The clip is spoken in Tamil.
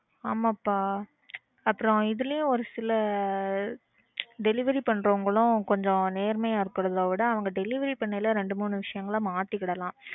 ஆமாப்பா அப்புறம் இதுலையும் ஒரு சில delivery பண்றவங்களும் கொஞ்சம் நேர்மையா இருக்கிறத விட அவங்க delivery பன்னைல ரெண்டு மூணு விசயங்கள மாத்திகிடலாம்